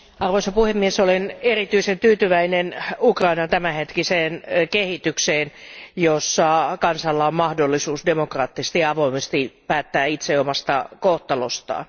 Arvoisa puhemies, olen erityisen tyytyväinen Ukrainan tämänhetkiseen kehitykseen, jossa kansalla on mahdollisuus demokraattisesti ja avoimesti päättää itse omasta kohtalostaan.